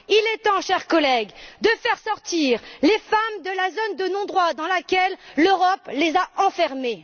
Il est temps, chers collègues, de faire sortir les femmes de la zone de non droit dans laquelle l'Europe les a enfermées.